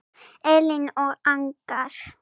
Elín og Agnar.